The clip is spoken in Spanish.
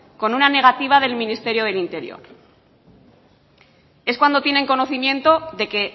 con una negativa del ministerio del interior es cuando tienen conocimiento de que